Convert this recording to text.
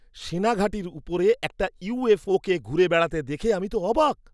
সেনা ঘাঁটির ওপরে একটা ইউএফওকে ঘুরে বেড়াতে দেখে আমি তো অবাক!